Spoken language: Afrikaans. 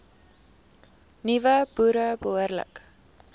nuwe boere behoorlik